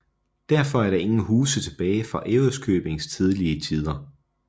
Derfor er der ingen huse tilbage fra Ærøskøbings tidlige tider